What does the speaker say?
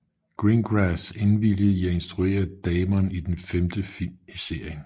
Greengrass indvilligede i at instruere Damon i den femte film i serien